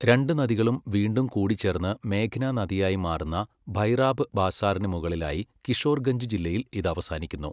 രണ്ട് നദികളും വീണ്ടും കൂടിച്ചേർന്ന് മേഘ്ന നദിയായി മാറുന്ന ഭൈറാബ് ബാസാറിന് മുകളിലായി കിഷോർഗഞ്ച് ജില്ലയിൽ ഇത് അവസാനിക്കുന്നു.